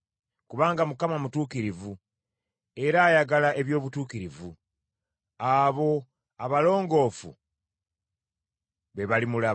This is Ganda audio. Kubanga Mukama mutuukirivu era ayagala eby’obutuukirivu; abo abalongoofu be balimulaba.